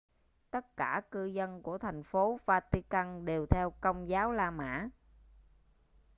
tất cả cư dân của thành phố vatican đều theo công giáo la mã